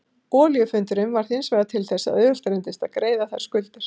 Olíufundurinn varð hinsvegar til þess að auðvelt reyndist að greiða þær skuldir.